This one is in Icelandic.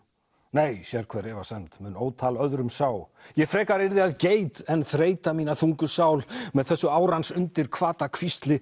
nei sérhver efasemd mun ótal öðrum sá ég frekar yrði að geit en þreyta mína þungu sál með þessu árans undir hvata